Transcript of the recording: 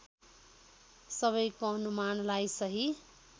सबैको अनुमानलाई सही